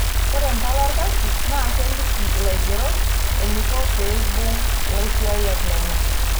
Ore impala olkasi naa keliki laigerok eneiko pee eibung' laisiyiak lenye.